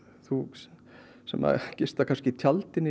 sem að gista kannski í tjaldi niðrí bæ